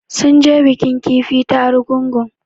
Sun je bikin kifi ta Argungu